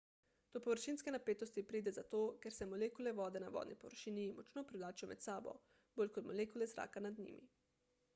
do površinske napetosti pride zato ker se molekule vode na vodni površini močno privlačijo med sabo bolj kot molekule zraka nad njimi